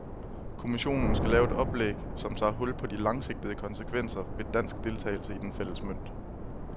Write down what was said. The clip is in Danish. Kommissionen skal lave et oplæg, som tager hul på de langsigtede konsekvenser ved dansk deltagelse i den fælles mønt.